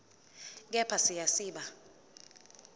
kepha siya siba